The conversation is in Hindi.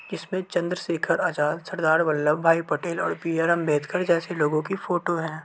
इसपे चंद्र शेखर आजाद सरदार वल्लभ भाई पटेल और बी.आर आंबेडकर जेसे लोगों की फोटो है।